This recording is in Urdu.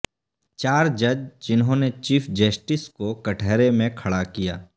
چار جج جنھوں نے چیف جسٹس کو کٹہرے میں کھڑا کیا